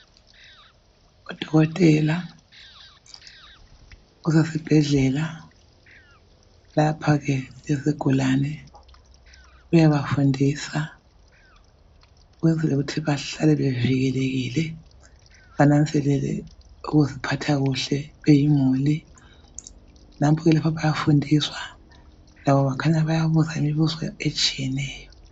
Udokotela usesibhedlela lapha ke izigulane uyabafundisa ukwenzela ukuthi bahlale bevikelekile bananzelele ukuziphatha kuhle . Nampo ke lapha bayafundiswa labo bakhanya bayabuza imibuzo etshiyeneyo.